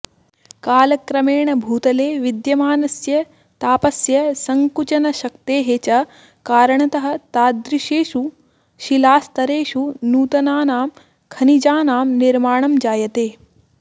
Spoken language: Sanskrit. कालक्रमेण भूतले विद्यमानस्य तापस्य सङ्कुचनशक्तेः च कारणतः तादृशेषु शिलास्तरेषु नूतनानां खनिजानां निर्माणं जायते